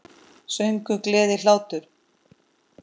Söngur, gleði, hlátur.